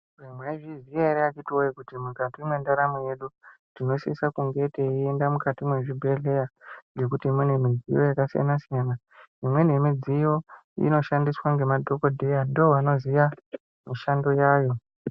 Mwaizviziya ere akitiwoye kuti mukati mwendaramu yedu tinosisa kunge teienda mukati mwezvibhehleya ngekuti mune mudziyo yakasiyana siyana imweni yemidziyo inoshandiswa ngemadhokodheya ndovanoziya mishando yayo.